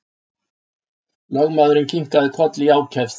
Lögmaðurinn kinkaði kolli í ákefð.